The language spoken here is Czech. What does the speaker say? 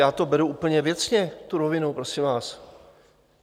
Já to beru úplně věcně, tu rovinu, prosím vás.